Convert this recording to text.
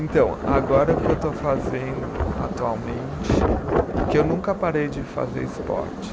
Então, agora o que eu estou fazendo atualmente, que eu nunca parei de fazer esporte.